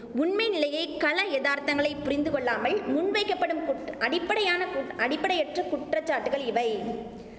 உண்மை நிலையை கள யதார்த்தங்களை புரிந்து கொள்ளாமல் முன்வைக்கப்படும் குட் அடிப்படையான குட் அடிப்படையற்ற குற்றச்சாட்டுகள் இவை